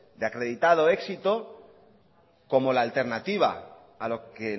de acreditado éxito como la alternativa a lo que